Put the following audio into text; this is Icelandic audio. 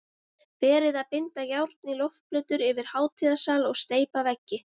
Verið að binda járn í loftplötur yfir hátíðasal og steypa veggi